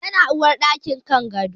Yana uwarɗaki kan gado